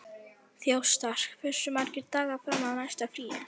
Þjóstar, hversu margir dagar fram að næsta fríi?